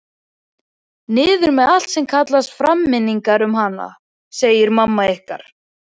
Niður með allt sem kallar fram minningar um hana, sagði mamma ykkar.